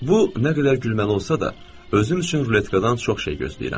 Bu nə qədər gülməli olsa da, özüm üçün ruletkadan çox şey gözləyirəm.